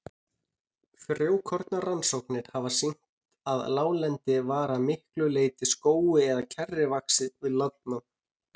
Frjókornarannsóknir hafa sýnt að láglendi var að miklu leyti skógi eða kjarri vaxið við landnám.